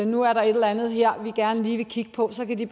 nu er der et eller andet her de gerne lige vil kigge på så ville de